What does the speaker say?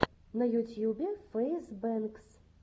на ютьюбе фэйз бэнкс